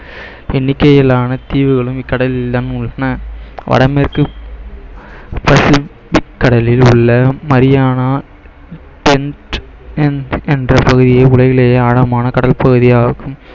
எண்ணிக்கையிலான தீவுகளும் இக்கடலில் தான் உள்ளன வடமேற்கு பசிபிக் கடலில் உள்ள மரியானா ட்ரென்ச் என்ற பகுதியே உலகிலேயே ஆழமான கடல் பகுதியாகும்